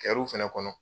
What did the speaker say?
Kɛw fɛnɛ kɔnɔ